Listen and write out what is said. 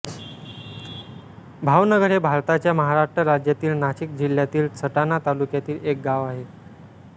भावनगर हे भारताच्या महाराष्ट्र राज्यातील नाशिक जिल्ह्यातील सटाणा तालुक्यातील एक गाव आहे